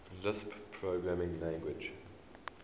lisp programming language